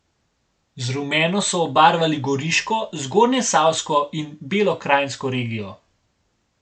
Z rumeno so obarvali Goriško, Zgornjesavsko in Belokranjsko regijo.